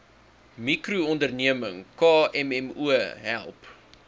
mikroonderneming kmmo help